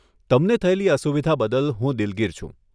તમને થયેલી અસુવિધા બદલ હું દિલગીર છું.